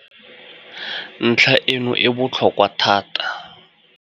Ntlha e no e botlhokwa thata.